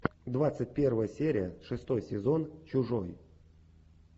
двадцать первая серия шестой сезон чужой